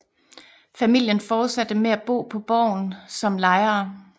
Familien fortsatte med at bo på borgen som lejere